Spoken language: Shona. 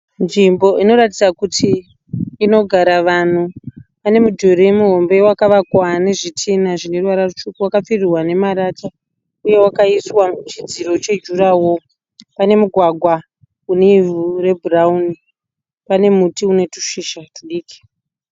Nzvimbo inoratidza kuti inogara vanhu. Pane mudhuri muhombe wakavakwa nezvitinha zvine ruvara rutsvuku wakapfirirwa nemarata uye wakaiswa chidziro chejurahoro. Pane mugwagwa une ivhu rebhurauni, pane muti une tushizha tudiki